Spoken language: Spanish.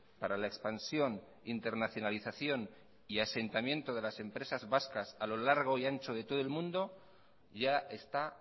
para la expansión internacionalización y asentamiento de las empresas vascas a lo largo y ancho de todo el mundo ya está